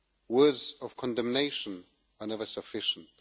Words of condemnation are never sufficient.